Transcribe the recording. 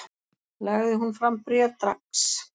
Lagði hún fram bréf dags